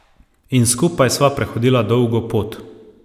In skupaj sva prehodila dolgo pot.